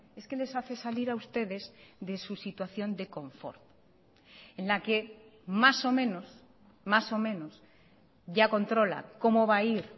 es que les hace salir a ustedes de su situación de confort en la que más o menos más o menos ya controla cómo va a ir